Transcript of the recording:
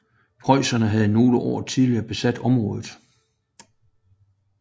Preussen havde nogle år tidligere besat området